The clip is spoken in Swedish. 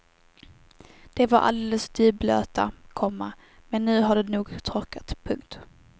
De var alldeles dyblöta, komma men nu har de nog torkat. punkt